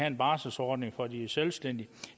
en barselsordning for de selvstændige